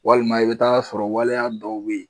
Walima i be taa sɔrɔ waleya dɔw be yen.